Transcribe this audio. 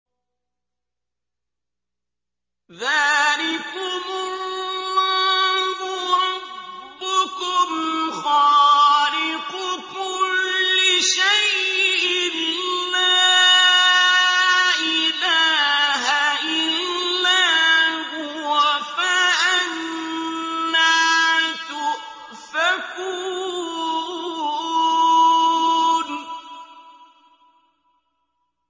ذَٰلِكُمُ اللَّهُ رَبُّكُمْ خَالِقُ كُلِّ شَيْءٍ لَّا إِلَٰهَ إِلَّا هُوَ ۖ فَأَنَّىٰ تُؤْفَكُونَ